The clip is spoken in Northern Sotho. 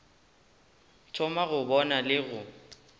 thoma go bona le go